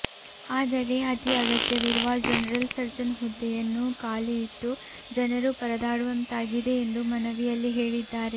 ಆದರೆ ಅತೀ ಅಗತ್ಯವಿರುವ ಜನರಲ್ ಸರ್ಜನ್ ಹುದ್ದೆಯನ್ನು ಖಾಲಿ ಇಟ್ಟು ಜನರು ಪರದಾಡುವಂತಾಗಿದೆ ಎಂದು ಮನವಿಯಲ್ಲಿ ಹೇಳಿದ್ದಾರೆ